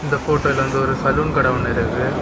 இந்த ஃபோட்டோல வந்து ஒரு சலூன் கட ஒன்னு இருக்கு.